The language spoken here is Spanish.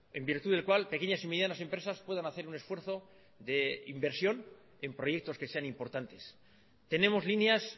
en virtud del cual pequeñas y medianas empresas pueden hacer un esfuerzo de inversión en proyectos que sean importantes tenemos líneas